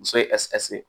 Muso ye